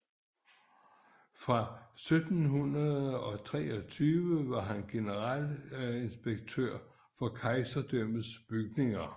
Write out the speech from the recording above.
Fra 1723 var han generalinspektør for kejserdømmets bygninger